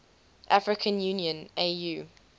african union au